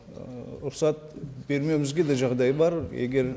ы рұқсат бермеуімізге де жағдай бар егер